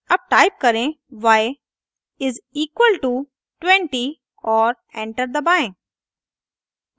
अब टाइप करें y is equal to 20 और एंटर दबाएं